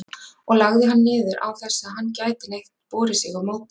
og lagði hann niður, án þess að hann gæti neitt borið sig á móti.